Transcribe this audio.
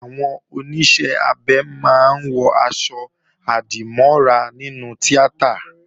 Àwọn Oníṣẹ́-abẹ máa ń wọ̀ aṣọ-àdìmọ́ra nínú tíátà